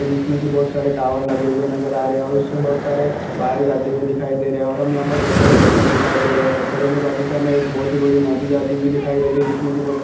जिसमें की बहुत सारे टावर लगे हुए नजर आ रहा है और उसमे बहुत सारे वायर जाते हुए दिखाई दे रहे है और हमे यहा पर बहुत सारे पत्थर दिखाई दे रहे है पत्थरो के बाजु से हमे एक बहुत ही बड़ी नदी जाती हुई दिखाई दे रही है जिसमे की--